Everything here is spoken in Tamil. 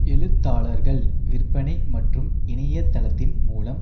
எழுத்தாளர்கள் விற்பனை மற்றும் இணையதளத்தின் மூலம்